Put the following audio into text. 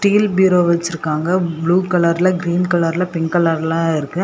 Steel bureau வச்சிருக்காங்க blue கலர்ல green கலர்ல பிங்க் கலர்லெல்லா இருக்கு.